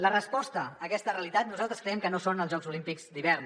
la resposta a aquesta realitat nosaltres creiem que no són els jocs olímpics d’hivern